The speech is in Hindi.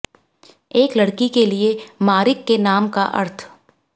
एक लड़की के लिए मरिक के नाम का अर्थ